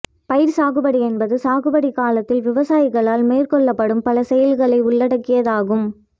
பயிர்சாகுபடி என்பது சாகுபடி காலத்தில் விவசாயிகளால் மேற்கொள்ளப்படும் பல செயல்களை உள்ளடக்கியதாகும்